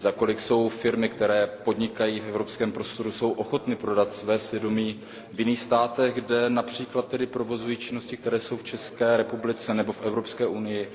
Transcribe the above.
Za kolik jsou firmy, které podnikají v evropském prostoru, ochotny prodat své svědomí v jiných státech, kde například provozují činnosti, které jsou v České republice nebo v Evropské unii